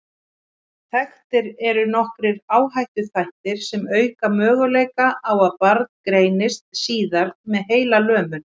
Þekktir eru nokkrir áhættuþættir sem auka möguleika á að barn greinist síðar með heilalömun.